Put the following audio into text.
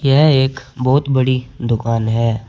यह एक बहुत बड़ी दुकान है।